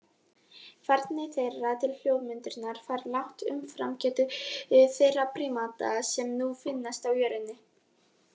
Færni þeirra til hljóðmyndunar var langt umfram getu þeirra prímata sem nú finnast á jörðinni.